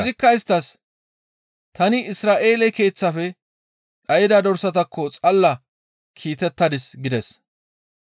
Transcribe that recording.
Izikka isttas, «Tani Isra7eele keeththafe dhayda dorsatakko xalla kiitettadis» gides.